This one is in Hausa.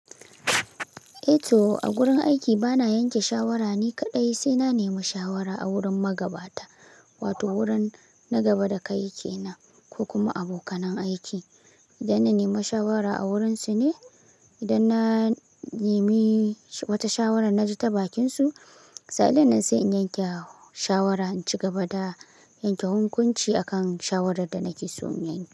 Eh to, a gurin aiki bana yanke shawara ni kaɗai, sai na nemi shawara a wurin magabata wato wurin na gaba da kai ke nan ko kuma abokanan aiki. Idan na nemi shawara a wurinsu ne, idan na nemi wata shawara na ji ta bakinsu, sa'annan sai in yanke shawara, in ci gaba da yanke hukunci akan shawarar da na ke so in yanke.